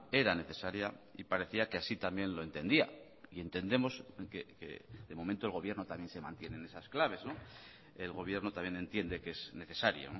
era necesaria y parecía que así también lo entendía y entendemos que de momento el gobierno también se mantiene en esas claves el gobierno también entiende que es necesario